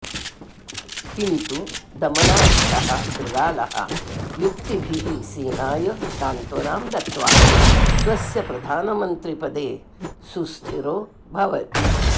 किन्तु दमनाख्यः शृगालः युक्तिभिः सिंहाय सान्त्वनां दत्त्वा स्वस्य प्रधानमन्त्रिपदे सुस्थिरो भवति